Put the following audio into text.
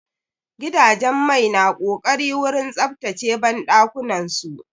Gidajen mai na ƙoƙari wurin tsaftace banɗakunan su.